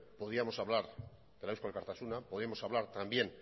podíamos hablar de la de eusko alkartasuna podíamos hablar también